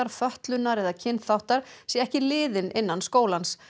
fötlunar eða kynþáttar sé ekki liðin innan skólans